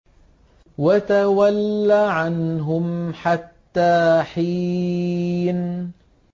وَتَوَلَّ عَنْهُمْ حَتَّىٰ حِينٍ